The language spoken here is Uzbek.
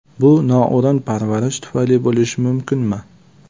Bu noo‘rin parvarish tufayli bo‘lishi mumkinmi?